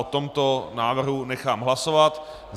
O tomto návrhu nechám hlasovat.